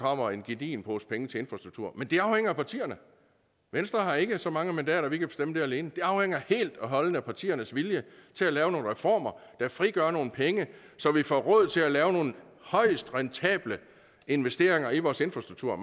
kommer en gedigen pose penge til infrastruktur men det afhænger af partierne venstre har ikke så mange mandater at vi kan bestemme det alene det afhænger helt og holdent af partiernes vilje til at lave nogle reformer der frigør nogle penge så vi får råd til at lave nogle højt rentable investeringer i vores infrastruktur